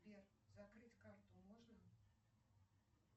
сбер закрыть карту можно